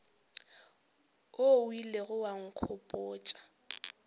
wo o ilego wa nkgopotša